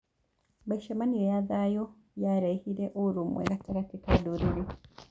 Mĩcemanio ya thayũ yarehire ũrũmwe gatagatĩ ka ndũrĩrĩ.